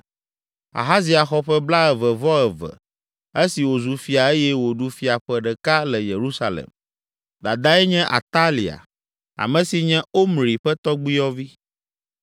Ahazia xɔ ƒe blaeve-vɔ-eve esi wòzu fia eye wòɖu fia ƒe ɖeka le Yerusalem. Dadae nye Atalia, ame si nye Omri ƒe tɔgbuiyɔvi.